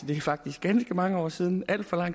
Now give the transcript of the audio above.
det er faktisk ganske mange år siden alt for